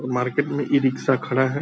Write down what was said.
Market में e-rickshaw खड़ा है ।